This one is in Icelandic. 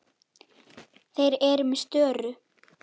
Þeir eru með störu.